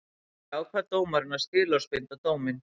Því ákvað dómurinn að skilorðsbinda dóminn